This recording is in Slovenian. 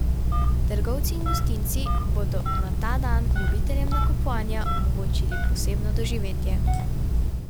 Trgovci in gostinci bodo na ta dan ljubiteljem nakupovanja omogočili posebno doživetje.